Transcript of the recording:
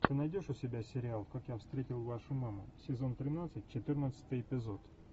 ты найдешь у себя сериал как я встретил вашу маму сезон тринадцать четырнадцатый эпизод